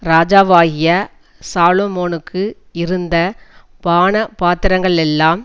ராஜாவாகிய சாலொமோனுக்கு இருந்த பானபாத்திரங்களெல்லாம்